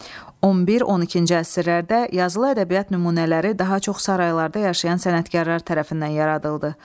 11-12-ci əsrlərdə yazılı ədəbiyyat nümunələri daha çox saraylarda yaşayan sənətkarlar tərəfindən yaradıldı.